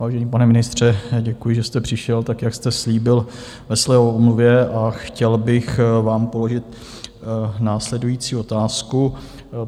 Vážený pane ministře, děkuji, že jste přišel tak, jak jste slíbil ve své omluvě, a chtěl bych vám položit následující otázku.